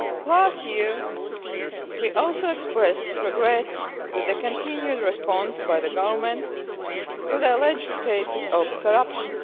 Last year we also expressed regret at the continued response by the Government to the alleged cases of corruption.